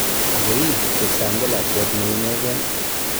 Ago ii kipsang ko lakwet nee inegen